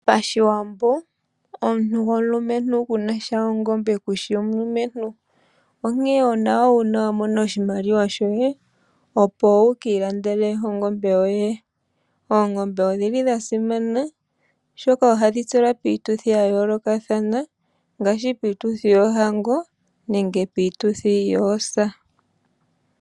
Pashiwambo, omuntu gomulumentu kunasha ongombe kushi omulumentu, onkee onawa wa mona oshimaliwa shoye opo wukii landele ongombe yoye. Oongombe odhili dha simana oshoka ohadhi tselwa piituthi ya yoolokathana ngaashi piituthi yoohango nenge piituthi yoosa.